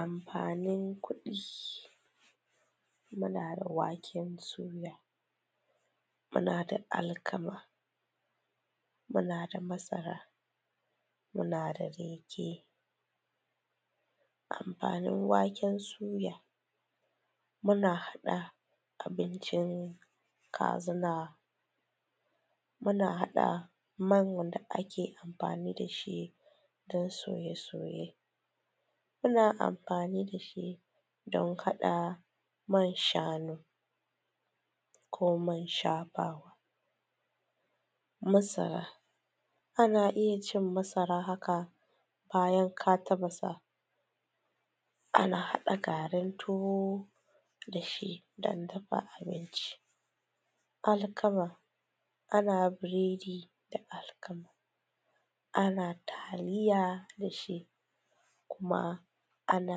amfanin kudi munada waken suya ma nadaƙ alkama mu nada masara mu nada riji amfanin waken suya muna hada abincin kazina muna hada man da ake amfani dashi na soye soye muna amfani dashi don kada man shanu ko man shafawa masara ana iyya cin masara haka bayan ka tafasa ana hada garin tuwo dashi dan dafa abinci alkama ana biredi da alkama ana taliya dashi kuma ana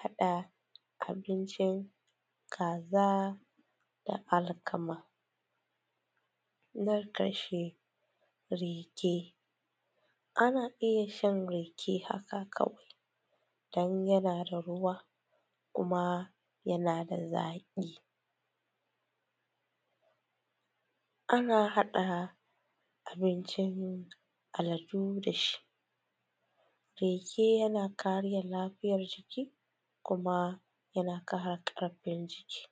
hada abincin kaza da alkama man kasha riji ana iyya shan riji haka kawai dan yana da ruwa kuma yanada zaki ana hada abincin aladu dashi riji yana kare lafiyar jiki sannan yana kara karfin jiki